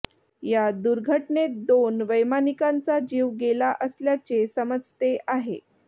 या दुर्घटनेत दोन वैमानिकांचा जीव गेला असल्याचे समजते आहे